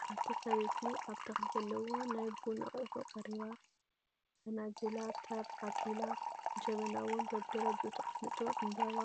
ሓንቲ ሰበይቲ ኣብ ተክሊ ዘለዎ ናይ ቡን ኣቁሑ ቀሪባ ፈናጅላ ተር ኣቢላ ጀበና እውን በቢደረጅኡ ተቀሚጡ ዕምበባ